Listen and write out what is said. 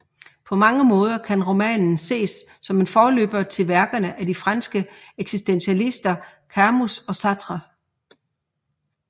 På mange måder kan romanen ses som en forløber til værkerne af de franske eksistentialister Camus og Sartre